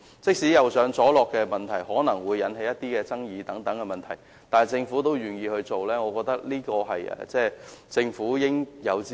即使"右上左落"的行車安排可能會引起爭議，但政府仍然願意實行，我覺得這是政府應有之義。